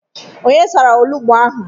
Onye sara olugbo ahụ?